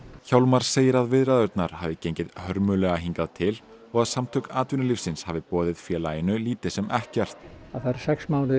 hjálmar segir að viðræðurnar hafi gengið hörmulega hingað til og að Samtök atvinnulífsins hafi boðið félaginu lítið sem ekkert það eru sex mánuðir